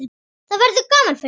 Það verður gaman fyrir þig.